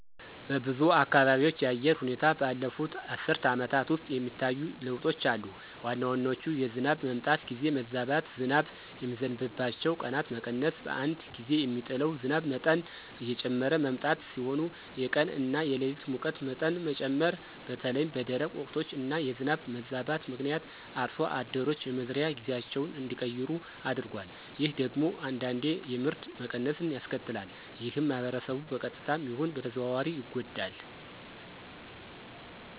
በብዙ አካባቢዎች የአየር ሁኔታ ባለፉት አስርት ዓመታት ውስጥ የሚታዩ ለውጦች አሉ። ዋና ዋናዎቹ የዝናብ መምጣት ጊዜ መዛባት፣ ዝናብ የሚዘንብባቸው ቀናት መቀነስ፣ በአንድ ጊዜ የሚጥለው ዝናብ መጠን እየጨመረ መምጣት ሲሆኑ የቀን እና የሌሊት ሙቀት መጠን መጨመር በተለይም በደረቅ ወቅቶች እና የዝናብ መዛባት ምክንያት አርሶ አደሮች የመዝሪያ ጊዜያቸውን እንዲቀይሩ አድርጓል። ይህ ደግሞ አንዳንዴ የምርት መቀነስን ያስከትላል። ይህም ማህበረሰቡን በቀጥታም ይሁን በተዘዋዋሪ ይጎዳል።